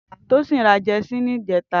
Tosin rà jèsí nijètá